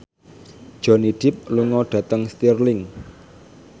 Johnny Depp lunga dhateng Stirling